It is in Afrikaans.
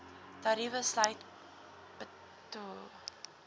tariewe sluit btw